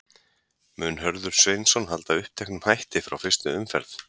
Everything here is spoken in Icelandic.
Mun Hörður Sveinsson halda uppteknum hætti frá fyrstu umferð?